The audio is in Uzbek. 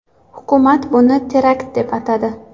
Hukumat buni terakt deb atadi.